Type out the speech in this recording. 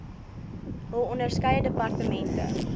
hul onderskeie departemente